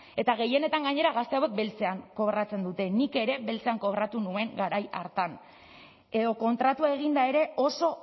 eta gehienetan gainera gazte hauek beltzean kobratzen dute nik ere beltzean kobratu nuen garai hartan edo kontratua eginda ere oso